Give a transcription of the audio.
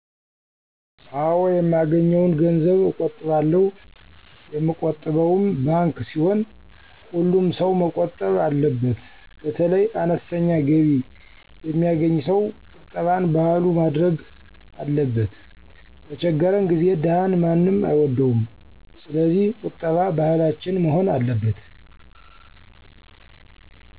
አወ የማገኘዉን ገንዘብ አቆጥባለሁ የምቆጥበዉም ባንከ ሲሆን ሀሉምሰዉ መቆጠብ አለበት በተለይ አነስተኛ ገቢ የሚየገኝ ሰዉ ቁጠባን ባህሉ ማድረግ አለበት በቸገረን ጊዜ ደሀን ማንም አይወደዉም ሰለዚህ ቂጠባ ባህላችን መሆን አለበት።